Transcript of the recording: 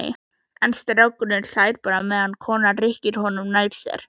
En strákurinn hlær bara meðan konan rykkir honum nær sér.